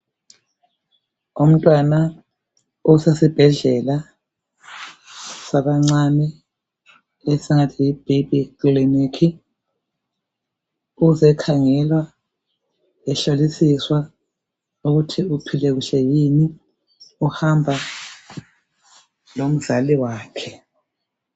Umntwana usesibhedlela sabancane, esingathi yi bhebhi ikilinika uzekhangelwa ehlolisiswa ukuthi uphile kuhle yini uhamba lomzali wakhe.